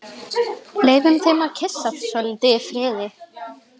Leyfum þeim að kyssast svolítið í friði.